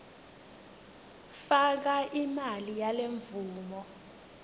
faka imali yalemvumo